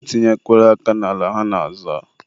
e tinyekwana aka n'ala ha na-azọ.